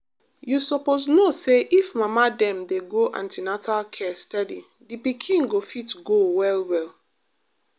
you suppose know say if mama dem dey go an ten atal care steady the pikin go fit go well well.